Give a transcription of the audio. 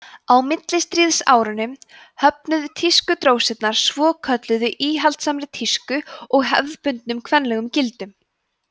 á millistríðsárunum höfnuðu tískudrósirnar svokölluðu íhaldssamri tísku og hefðbundnum kvenlegum gildum